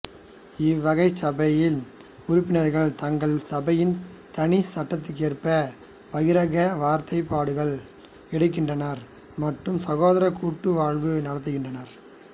இவ்வகை சபையின் உறுப்பினர்கள் தங்கள் சபையின் தனிச் சட்டத்திற்கேற்ப பகிரங்க வார்த்தைப்பாடுகள் எடுக்கின்றனர் மற்றும் சகோதரக் கூட்டுவாழ்வு நடத்துகின்றனர்